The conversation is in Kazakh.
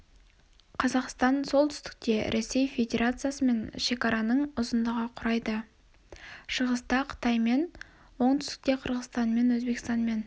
қазақстан солтүстікте ресей федерациясымен шекараның ұзындығы құрайды шығыста-қытаймен оңтүстікте қырғызстанмен өзбекстанмен